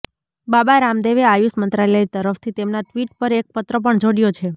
બાબા રામદેવે આયુષ મંત્રાલય તરફથી તેમના ટ્વીટ પર એક પત્ર પણ જોડ્યો છે